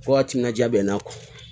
Fo ka timinaja bɛ n'a kɔ